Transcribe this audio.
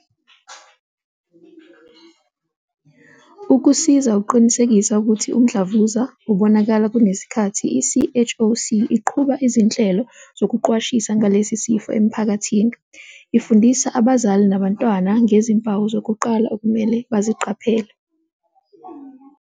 Ukusiza ukuqinisekisa ukuthi umdlavuza ubonakala kunesikhathi, i-CHOC iqhuba izinhlelo zokuqwashisa ngalesi sifo emiphakathini, ifundisa abazali nabantwana ngezimpawu zokuqala okumele baziqaphele.